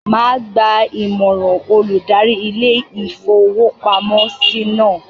Màá gba Ìmọ̀ràn olùdarí ilé-ìfowópamọ́sí náà.